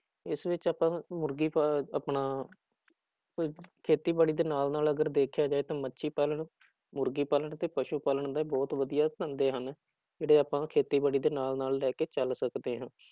ਇਸ ਵਿੱਚ ਆਪਾਂ ਮੁਰਗੀ ਫਾ ਆਪਣਾ ਕੋਈ ਖੇਤੀਬਾੜੀ ਦੇ ਨਾਲ ਨਾਲ ਅਗਰ ਦੇਖਿਆ ਜਾਏ ਤਾਂ ਮੱਛੀ ਪਾਲਣ, ਮੁਰਗੀ ਪਾਲਣ ਤੇ ਪਸੂ ਪਾਲਣ ਦੇ ਬਹੁਤ ਵਧੀਆਂ ਧੰਦੇ ਹਨ, ਜਿਹੜੇ ਆਪਾਂ ਖੇਤੀਬਾੜੀ ਦੇ ਨਾਲ ਨਾਲ ਲੈ ਕੇ ਚੱਲ ਸਕਦੇ ਹਾਂ,